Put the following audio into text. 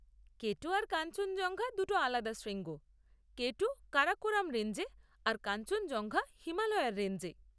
কে two আর কাঞ্চনজঙ্ঘা দুটো আলাদা শৃঙ্গ, কে টু কারাকোরাম রেঞ্জে আর কাঞ্চনজঙ্ঘা হিমালয়ার রেঞ্জে।